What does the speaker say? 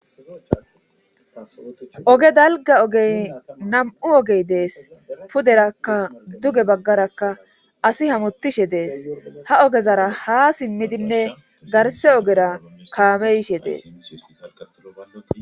oge dalga ogey nam7u ogey dees puderakka duge baggarakka asi hamutishe dees ha ogezara haa simmidinne garse ogera kaamey yishe dees